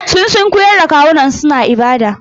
Sun sunkuyar da kawunansu suna ibada.